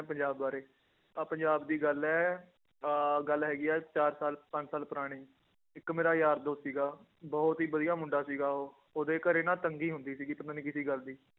ਪੰਜਾਬ ਬਾਰੇ ਆਹ ਪੰਜਾਬ ਦੀ ਗੱਲ ਹੈ ਅਹ ਗੱਲ ਹੈਗੀ ਹੈ ਚਾਰ ਸਾਲ ਪੰਜ ਸਾਲ ਪੁਰਾਣੀ, ਇੱਕ ਮੇਰਾ ਯਾਰ ਦੋਸਤ ਸੀਗਾ, ਬਹੁਤ ਹੀ ਵਧੀਆ ਮੁੰਡਾ ਸੀਗਾ ਉਹ, ਉਹਦੇ ਘਰੇ ਨਾ ਤੰਗੀ ਹੁੰਦੀ ਸੀਗੀ ਪਤਾ ਨੀ ਕਿਹਦੀ ਗੱਲ ਦੀ